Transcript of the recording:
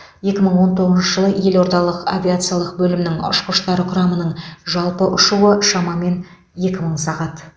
екі мың он тоғызыншы жылы елордалық авиациялық бөлімнің ұшқыштар құрамының жалпы ұшуы шамамен екі мың сағат